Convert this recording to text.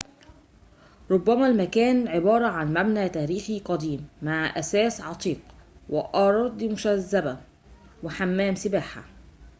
رُبما المكان عبارة عن مبنى تاريخي قديم مع أثاث عتيق وأراضٍ مشذبة وحمام سباحةٍ